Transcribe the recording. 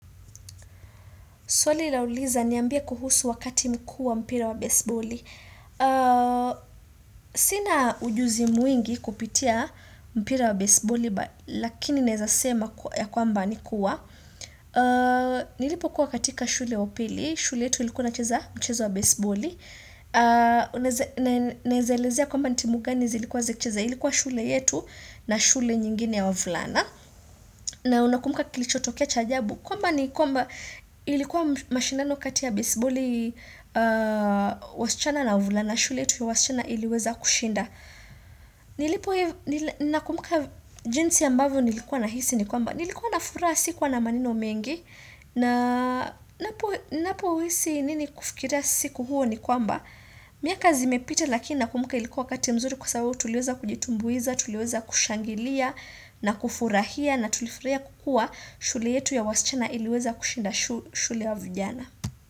Swali la uliza niambie kuhusu wakati mkuu wa mpira wa baseballi. Sina ujuzi mwingi kupitia mpira wa baseballi, lakini naweza sema ya kwamba nikua. Nilipo kuwa katika shule wapili. Shule yetu ilikuwa inacheza mchezo wa baseballi. Nawezaelezea kwamba nitimugani zilikuwa zikcheza. Ilikuwa shule yetu na shule nyingine ya vulana. Na unakumbuka kilichotokea chaajabu. Kwamba ni kwamba ilikuwa mashindano kati ya baseball wasichana na wavulana, shule yetu ya wasichana iliweza kushinda. Nilipo hivu, nakumbuka jinsi ambavyo nilikuwa na hisi ni kwamba. Nilikuwa na furaha sikuwa na maneno mengi, ninapo hisi nini kufikiria siku huo ni kwamba. Miaka zimepita lakini nakumbuka ilikuwa wakati mzuri kwa sababu tuliweza kujitumbuiza, tuliweza kushangilia na kufurahia na tulifurahia kwa kuwa shule yetu ya wasichana iliweza kushinda shule ya vijana.